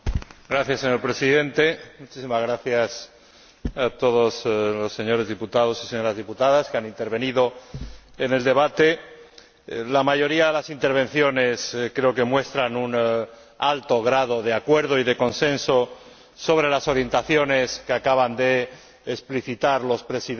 Señor Presidente, quiero dar las gracias a todas las señoras diputadas y los señores diputados que han intervenido en el debate. La mayoría de las intervenciones creo que muestran un alto grado de acuerdo y de consenso sobre las orientaciones que acaban de explicitar los Presidentes